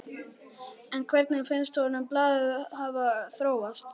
En hvernig finnst honum blaðið hafa þróast?